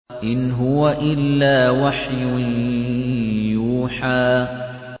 إِنْ هُوَ إِلَّا وَحْيٌ يُوحَىٰ